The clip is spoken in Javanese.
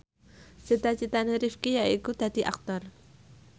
cita citane Rifqi yaiku dadi Aktor